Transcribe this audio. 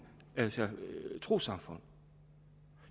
trossamfund